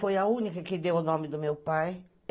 Foi a única que deu o nome do meu pai.